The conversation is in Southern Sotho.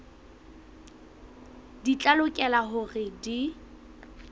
di tla lokela hore di